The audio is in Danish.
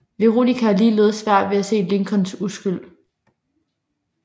Veronica har ligeledes svært ved at se Lincolns uskyld